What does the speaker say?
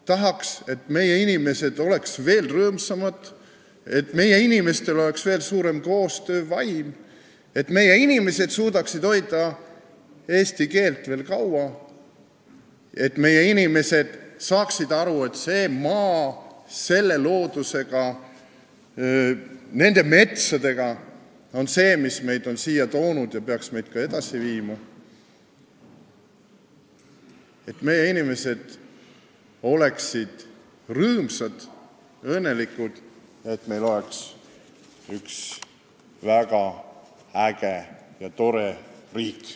Tahaks, et meie inimesed oleksid veel rõõmsamad, et meie inimestel oleks veel suurem koostöövaim, et meie inimesed suudaksid hoida eesti keelt veel kaua, et meie inimesed saaksid aru, et see maa selle looduse ja nende metsadega on see, mis on meid siia toonud ja peaks meid ka edasi viima, et meie inimesed oleksid rõõmsad ja õnnelikud ning et meil oleks üks väga äge ja tore riik.